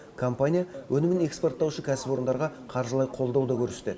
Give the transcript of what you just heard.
компания өнімін экспорттаушы кәсіпорындарға қаржылай қолдау да көрсетеді